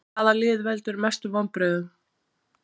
Hvaða lið veldur mestu vonbrigðum?